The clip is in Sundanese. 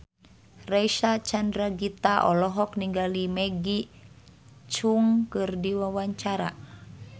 Reysa Chandragitta olohok ningali Maggie Cheung keur diwawancara